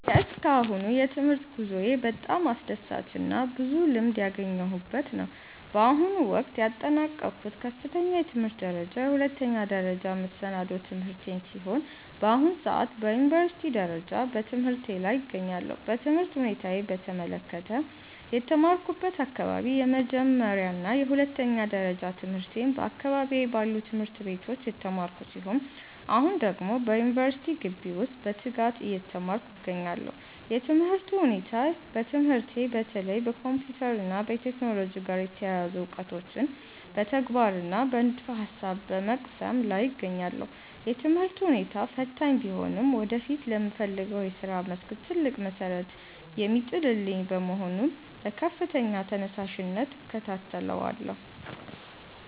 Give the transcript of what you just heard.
የእስካሁኑ የትምህርት ጉዞዬ በጣም አስደሳችና ብዙ ልምድ ያገኘሁበት ነው። በአሁኑ ወቅት ያጠናቀቅኩት ከፍተኛ የትምህርት ደረጃ የሁለተኛ ደረጃና መሰናዶ ትምህርቴን ሲሆን፣ በአሁኑ ሰዓት በዩኒቨርሲቲ ደረጃ በትምህርቴ ላይ እገኛለሁ። የትምህርት ሁኔታዬን በተመለከተ፦ የተማርኩበት አካባቢ፦ የመጀመሪያና የሁለተኛ ደረጃ ትምህርቴን በአካባቢዬ ባሉ ትምህርት ቤቶች የተማርኩ ሲሆን፣ አሁን ደግሞ በዩኒቨርሲቲ ግቢ ውስጥ በትጋት እየተማርኩ እገኛለሁ። የትምህርቱ ሁኔታ፦ በትምህርቴ በተለይ ከኮምፒውተር እና ከቴክኖሎጂ ጋር የተያያዙ እውቀቶችን በተግባርና በንድፈ-ሐሳብ በመቅሰም ላይ እገኛለሁ። የትምህርቱ ሁኔታ ፈታኝ ቢሆንም ወደፊት ለምፈልገው የሥራ መስክ ትልቅ መሠረት የሚጥልልኝ በመሆኑ በከፍተኛ ተነሳሽነት እከታተለዋለሁ።